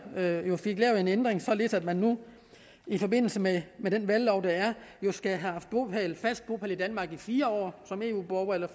fik lavet en ændring således at man nu i forbindelse med den valglov der er skal have haft fast bopæl i danmark i fire år som eu borger eller